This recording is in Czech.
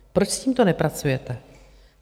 Proč s tímto nepracujete?